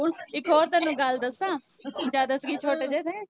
ਇਕ ਹੋਰ ਤੈਨੂੰ ਗੱਲ ਦਸਾਂ ਜਦ ਅਸੀਂ ਛੋਟੇ ਜੇ ਥੇ